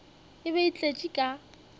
e be e tletše ka